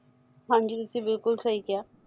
ਹਾਂਜੀ ਤੁਸੀ ਬਿਲਕੁਲ ਸਹੀ ਕਿਹਾ